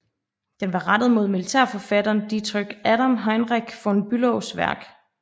Den var rettet mod militærforfatteren Dietrich Adam Heinrich von Bülows værk